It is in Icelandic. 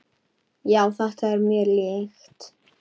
Já, þetta er mér líkt.